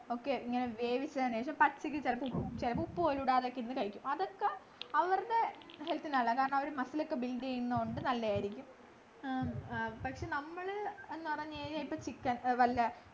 ഒക്കെ ഇങ്ങനെ വേവിച്ചു പച്ചയ്ക്ക് ചിലപ്പോ ഉപ്പു പോലും ഇടാതെ കഴിക്കും അത്ഒക്കെ അവരുടെ health നല്ലതാ കാരണം muscle ഒക്കെ build ചെയ്യുന്നുണ്ട് നല്ലയായിരിക്കും ആഹ് ആഹ് പക്ഷെ നമ്മള് എന്ന് പറഞ്ഞു ഇപ്പൊ chicken ല്ല